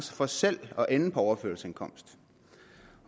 for selv at ende på overførselsindkomst